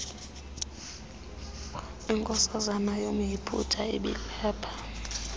inkosana yomyiputa ibilapha